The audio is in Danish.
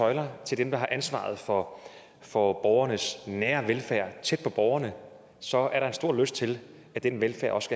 tøjler til dem der har ansvaret for for borgernes nære velfærd tæt på borgerne så er der en stor lyst til at den velfærd også